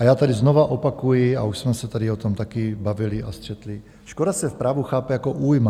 A já tady znovu opakuji, a už jsme se tady o tom taky bavili a střetli, škoda se v právu chápe jako újma.